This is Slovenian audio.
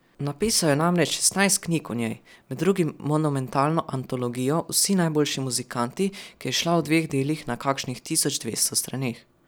Napisal je namreč šestnajst knjig o njej, med drugim monumentalno antologijo Vsi najboljši muzikanti, ki je izšla v dveh delih na kakšnih tisoč dvesto straneh.